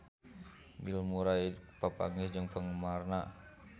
Bill Murray papanggih jeung penggemarna